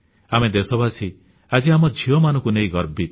ଆମେ ଦେଶବାସୀ ଆଜି ଆମ ଝିଅମାନଙ୍କୁ ନେଇ ଗର୍ବିତ